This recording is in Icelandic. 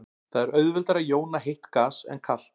Það er auðveldara að jóna heitt gas en kalt.